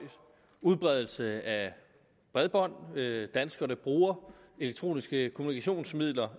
udbredelse af bredbånd danskerne bruger elektroniske kommunikationsmidler